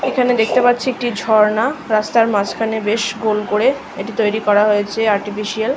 এইখানে দেখতে পারছি একটি ঝর্ণা। রাস্তার মাঝখানে বেশ গোল করে এটি তৈরী করা হয়েছে আর্টিফেসিয়াল